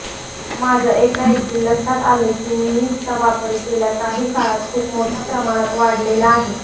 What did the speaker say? माझ्या एकाएकी लक्षात आलं की मीम्सचा वापर गेल्या काही काळात खूप मोठ्या प्रमाणात वाढलेला आहे